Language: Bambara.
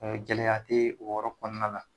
Gɛlɛya te o yɔrɔ kɔnɔna la